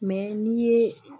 n'i ye